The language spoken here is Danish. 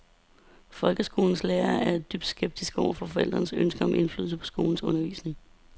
Folkeskolens lærere er dybt skeptiske over for forældrenes ønske om indflydelse på skolens undervisning.